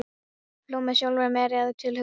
Hló með sjálfri mér að tilhugsuninni.